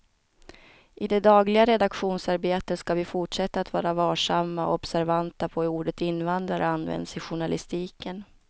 I det dagliga redaktionsarbetet ska vi fortsätta att vara varsamma och observanta på hur ordet invandrare används i journalistiken.